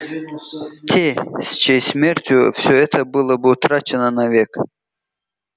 те с чьей смертью все это было бы утрачено навек